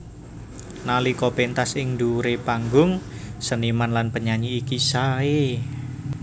Nalika péntas ing dhuwuré panggung seniman lan penyanyi iki saé